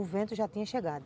O vento já tinha chegado.